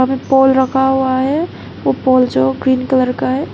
यहां पर पोल रखा हुआ है वो पोल जो ग्रीन कलर का है।